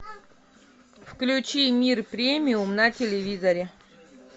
включи мир премиум на телевизоре